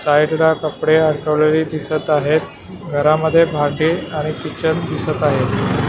Side ला कपडे अडकवलेली दिसत आहेत घरामध्ये भांडी आणि किचन दिसत आहे.